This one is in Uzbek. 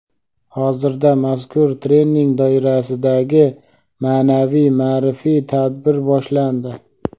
Hozirda mazkur trening doirasidagi ma’naviy -ma’rifiy tadbir boshlandi.